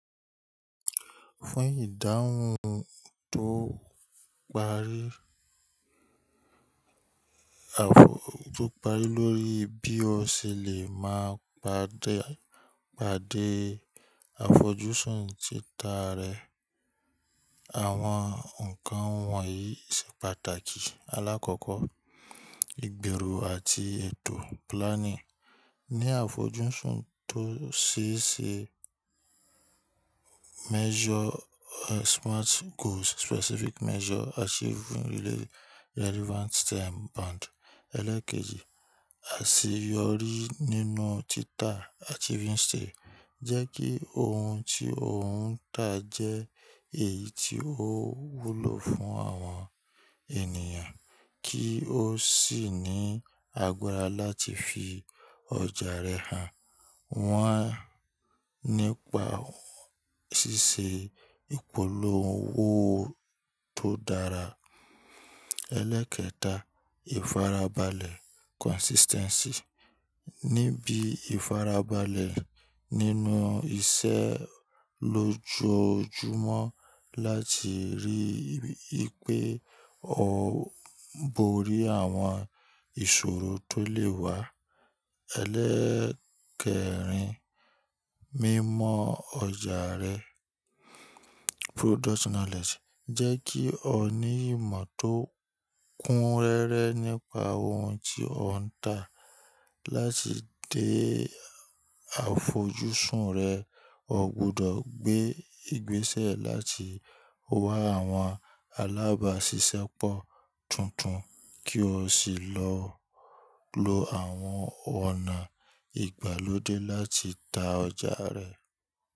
Fún ìdáhùn tó parí, àfojú, tó parí lórí bí o ṣe lè máa pàdé, pàdé àfojúsùn títa rẹ. Àwọn nǹkan wọ̀nyí ṣe pàtàkì. Alákọ́kọ́, ìgbèrò àti ètò planning. Ni àfojúsùn tó ṣe ṣe measure, eh, smart goals, specific measure, achieving relevant time bound. Ẹlẹ́ẹ̀kejì, àṣeyọrí nínú títa achieving state. Jẹ́ kí ohun tí o ń tà jẹ́ èyí tí ó wúlò fún àwọn ènìyàn kí ó sì ní àgbara láti fi ọjà rẹ hàn. Wọ́n nípa ṣíṣe ìpolówó tó dára. Ẹlẹ́ẹ̀kẹta, ìfarabalẹ̀ consistency. Níbi ìfarabalẹ̀ nínú iṣẹ́ lójọojúmọ́ láti rí wipé o borí àwọn ìṣòro tó lè wá. Ẹlẹ́ẹ̀kẹ̀rin, mímọ̀ ọjà rẹ product knowledge. Jẹ́ kí o ní ìmọ̀ tó kúnrẹ̀rẹ̀ nípa ohun tí o ń tà. Láti dé àfojúsùn rẹ, o gbudọ̀ gbé ìgbésẹ̀ láti wá àwọn alábàáṣiṣẹ́ pọ̀ tuntun kí o sì lọ lo àwọn ọ̀nà ìgbàlódé láti ta ọjà rẹ.